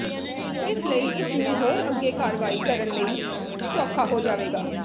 ਇਸ ਲਈ ਇਸ ਨੂੰ ਹੋਰ ਅੱਗੇ ਕਾਰਵਾਈ ਕਰਨ ਲਈ ਸੌਖਾ ਹੋ ਜਾਵੇਗਾ